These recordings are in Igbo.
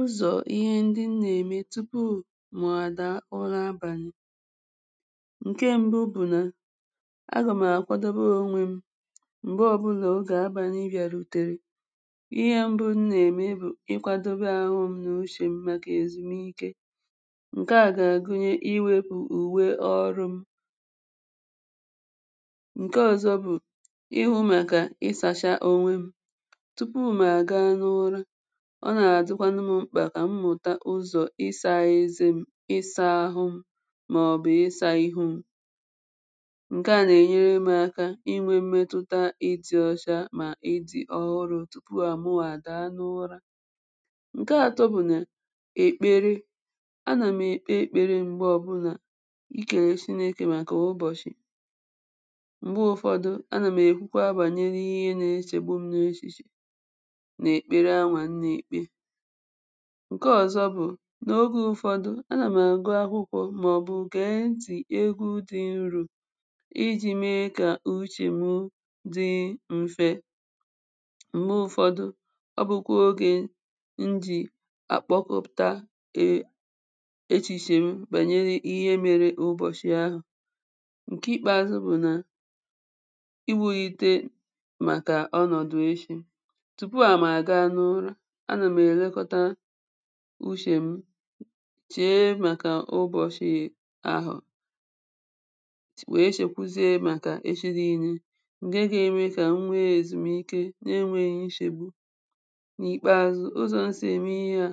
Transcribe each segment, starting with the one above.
Ụzọ̀ ihe ndị m nà-ème tupu mụ̀ àdàa ụra abànị̀: ǹke mbụ bụ̀ nà agà m̀ àkwadobe onwe m m̀gbè ọbụ̄nà ogè abànị bìàrụ̀tèrè, ihe m̀bụ m nà-ème bụ̀ ịkwādobe àhụ m̄ n’ushè m màkà èzùmike. ǹkè a gà-àgụnye iwēpụ̀ ùwe ọrụ̄ m. ǹke ọ̀zọ bụ̀ ịhụ̄ màkà ịsācha onwe m. tupu m̀ àga n’ụra, ọ nà-àdịkwanụ m̄ mkpà kà m mụ̀ta ụzọ̀ ịsā eze m̄, ịsā ahụ m̄ màọ̀bụ̀ ịsā ihu m̄. ǹkè a nà-ènyere m̄ aka inwē mmetụta ịdị̄ ọsha mà ịdị̄ ọhụrụ̄ tupu à mụwà àdàa n’ụra. ǹke atọ bụ̀ nà èkpere, anà m̀ èkpe èkpere m̀gbè ọbụ̄nà ikèlè Shinēkè màkà ụbọ̀shị̀. m̀gbe ụ̀fọdụ anà m̀ èkwukwa bànyere ihe na-eshègbu m̄ n’eshìshè n’èkpere anwà m nà-èkpe. ǹke ọ̀zọ bụ̀ n’ogē ụ̀fọdụ anà m̀ àgụ akwụkwọ̄ màọ̀bụ̀ gẹ̀ẹ ntị̀ egwu dị̄ nrū ijī me kà uchè m dị mfẹ. m̀gbe ụ̀fọdụ ọ bụkwa ogē m jì àkpọkọpụ̀ta ē eshìshè m bànyere ihe mere ụbọ̀shị̀ ahụ̀. ǹke ìkpèàzụ bụ̀ nà iwūite màkà ọnọ̀dụ̀ eshī. tupu à mà ga n’ụra, anà m̀ èlekọta ushè m chèe màkà ụbọ̀shị̀ ahụ̀ wèe shèkwuzie màkà eshi niīnē, ǹke ga-eme kà m nwe èzùmike na enwēghī nshegbu. n’ìkpeazụ ụzọ̀ m sì ème ihe à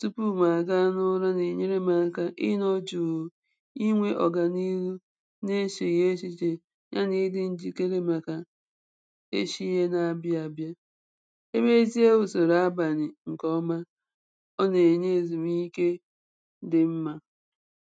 tupu m̀ àga n’ụra nà-ènyere m̄ ẹka ịnọ̄ jùù, inwē ọ̀gànilu nà eshèghị̀ eshìshè ya nà ịdị̄ njìkere màkà eshi yē na-abịa abịa. E mezie usòrò abànị̀ ǹkè ọma, ọ nà-ènye èzùmike dị mmā.